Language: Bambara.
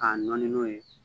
K'a nɔɔni n'o ye